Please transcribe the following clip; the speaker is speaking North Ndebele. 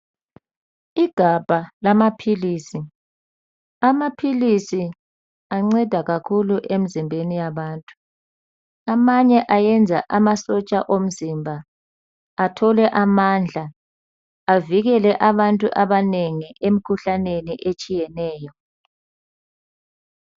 Igabha lamaphilisi amaphilisi anceda kakhulu emzimbeni yabantu amanye ayenza amasotsha omzimba athole amandla avikele abantu abanengi emkhuhlaneni etshiyeneyo